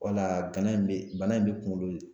Wala gala in be bana in be kuŋolo l